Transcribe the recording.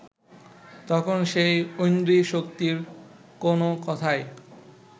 তখন সেই ঐন্দ্রী শক্তির কোন কথাই